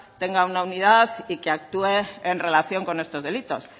tenga una unidad y que actúe en relación con estos delitos